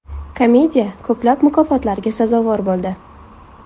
Komediya ko‘plab mukofotlarga sazovor bo‘ldi.